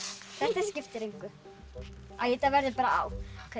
þetta skiptir engu æ þetta verður bara á